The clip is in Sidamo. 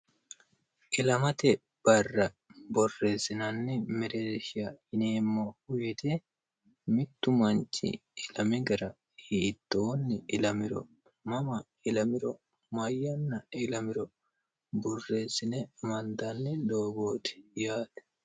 ilamate barra borreessinanni mereesha yineemmohuyiti mittu manchi ilami gara hiittoonni ilamiro mama ilamiro mayyanna ilamiro borreessine mandanni doogooti yaati